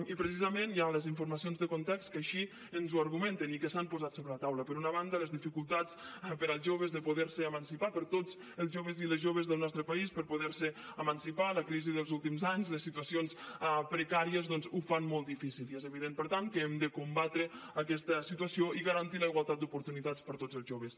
i precisament hi ha les informacions de context que així ens ho argumenten i que s’han posat sobre la taula per una banda les dificultats per als joves de poder se emancipar per a tots els joves i les joves del nostre país per poder se emancipar la crisi dels últims anys les situacions precàries doncs ho fan molt difícil i és evident per tant que hem de combatre aquesta situació i garantir la igualtat d’oportunitats per a tots els joves